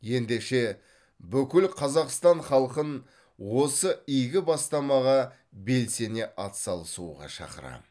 ендеше бүкіл қазақстан халқын осы игі бастамаға белсене атсалысуға шақырамын